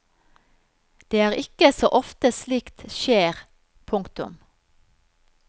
Det er ikke så ofte slikt skjer. punktum